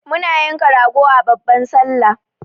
muna yanka rago a babban sallah